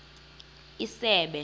isebe